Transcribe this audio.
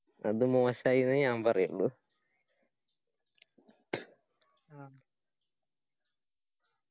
അത് മോശമായി ന്നേ ഞാൻ പറയുള്ളു